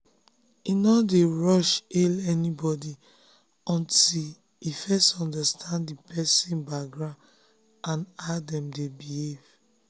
e no dey rush hail anybody until e first understand the person um background and how dem dey behave.